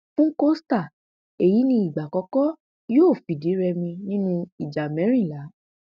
fún costa èyí ní ìgbà àkọkọ yóò fìdírèmi nínú ìjà mẹrìnlá